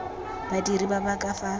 badiri ba ba ka fa